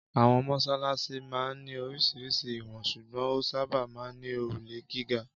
Àwọn mọ́ṣáláṣí máa ń ní oríṣiríṣi ìwọ̀n ṣùgbọ́n ó sábà máa ń ní òrùlé gíga.